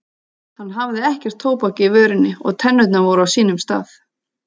Hann hafði ekkert tóbak í vörinni og tennurnar voru á sínum stað.